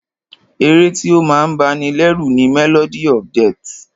Ẹ̀ré tí o máa ń bá ní lẹ́rù ni "Melody of death"